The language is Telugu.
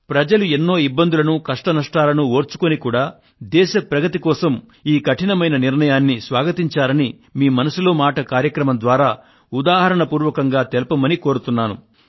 ప్రజలు ఎన్నో ఇబ్బందులను కష్టనష్టాలను ఓర్చుకొని కూడా దేశ ప్రగతి కోసం ఈ కఠినమైన నిర్ణయాన్ని స్వాగతించారని మీ మన్ కీ బాత్ మనసులో మాట కార్యక్రమం ద్వారా ఉదాహరణ పూర్వకంగా తెలుపమని కోరుతున్నాను